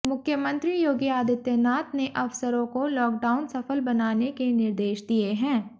मुख्यमंत्री योगी आदित्यनाथ ने अफसरों को लॉकडाउन सफल बनाने के निर्देश दिए हैं